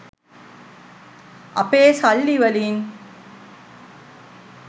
අපේ සල්ලි වලින්